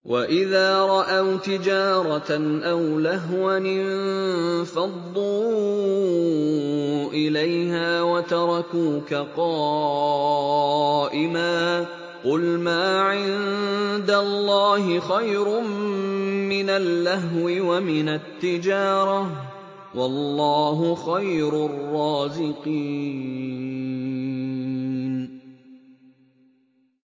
وَإِذَا رَأَوْا تِجَارَةً أَوْ لَهْوًا انفَضُّوا إِلَيْهَا وَتَرَكُوكَ قَائِمًا ۚ قُلْ مَا عِندَ اللَّهِ خَيْرٌ مِّنَ اللَّهْوِ وَمِنَ التِّجَارَةِ ۚ وَاللَّهُ خَيْرُ الرَّازِقِينَ